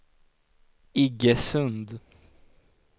Iggesund